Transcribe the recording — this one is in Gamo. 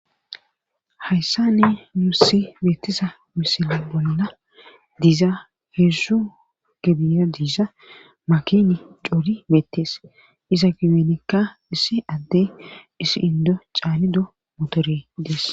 hayssane yuussi beettisa misila bolna diiza heessu gebiya diiza makini cuuri meettees iza gibenekka issi adde issi indo caanido motore idees